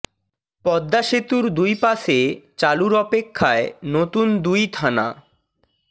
পদ্মা সেতুর দুই পাশে চালুর অপেক্ষায় নতুন দুই থানা